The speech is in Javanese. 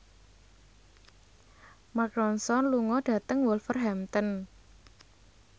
Mark Ronson lunga dhateng Wolverhampton